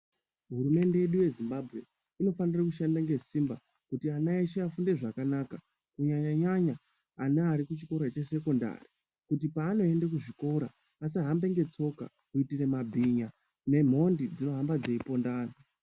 Hurumende yedu yeZimbabwe inofanire kushanda ngesimba kuti ana eshe afunde zvakanaka kunyanya nyanya vana vari kuchikora chesekondari kuti pavanoenda kuzvikora vasahambe ngetsoka kuitire mabhinya nemhondi dzinohamba dzeiponda anthu.